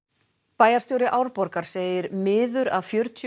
bæjarstjóri Árborgar segir miður að fjörutíu